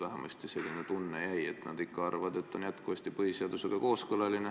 Vähemasti jäi selline tunne, et nad ikka arvavad, et seadus on põhiseadusega kooskõlas.